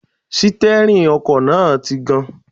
Sítẹ́rìnì ọkọ̀ náà ti gan-an